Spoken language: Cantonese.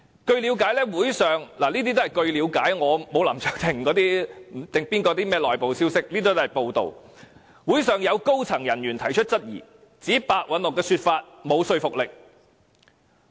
據了解——這些都是報道所得消息，因我不像林卓廷議員，沒有甚麼內部消息——會上有高層人員提出質疑，指白韞六的說法沒有說服力。